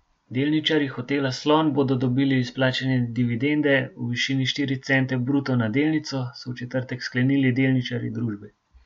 Delničarji Hotela Slon bodo dobili izplačane dividende v višini štiri cente bruto na delnico, so v četrtek sklenili delničarji družbe.